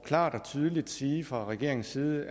klart og tydeligt sige fra regeringens side